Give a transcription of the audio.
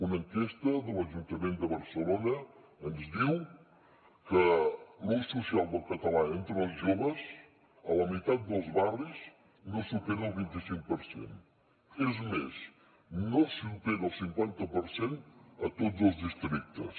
una enquesta de l’ajuntament de barcelona ens diu que l’ús social del català entre els joves a la meitat dels barris no supera el vint i cinc per cent és més no supera el cinquanta per cent a tots els districtes